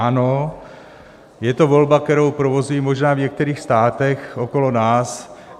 Ano, je to volba, kterou provozují možná v některých státech okolo nás.